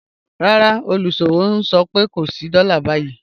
Rárá, olúṣọ̀wọ̀ n sọ̀ pẹ̀ kò sí dóla ni báyi